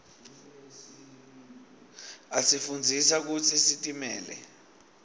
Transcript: asifundzisa kutsi sitimele